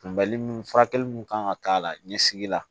Kunbɛli furakɛli mun kan ka k'a la ɲɛsigi la